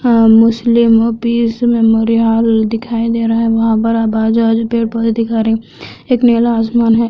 यह museum peace memorial hall दिखाई दे रहा है पैर पौधा दिखा रहे एक नीला आसमान है।